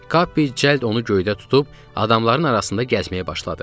Kappi cəld onu göydə tutub adamların arasında gəzməyə başladı.